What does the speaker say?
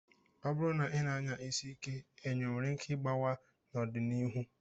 Ọ bụrụ na ị na-anya isi ike, enyo nwere ike ịgbawa n'ọdịnihu.